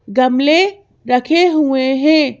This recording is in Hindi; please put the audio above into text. गमले रखे हुए हैं।